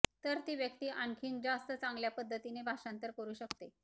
तर ती व्यक्ती आणखीन जास्त चांगल्या पद्धतीने भाषांतर करू शकते